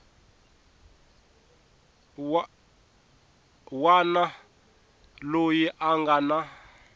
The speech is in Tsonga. wana loyi a nga na